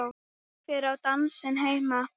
Hvar á dansinn heima?